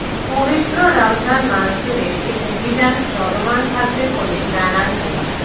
পবিত্র রমজান মাসজুড়ে এ অভিযান চলমান থাকবে বলে জানান মো